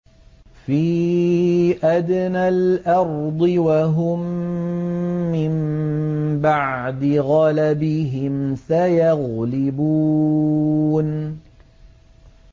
فِي أَدْنَى الْأَرْضِ وَهُم مِّن بَعْدِ غَلَبِهِمْ سَيَغْلِبُونَ